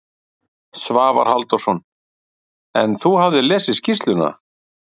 Svavar Halldórsson: En þú hafðir lesið skýrsluna?